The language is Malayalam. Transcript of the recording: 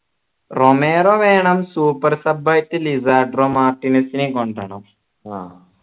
റൊമേറോ വേണം super sub ആയിട്ട് മാർട്ടിനെസ്സിനെയും കൊണ്ടുവരണം